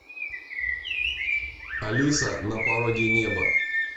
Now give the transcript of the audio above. алиса на пороге неба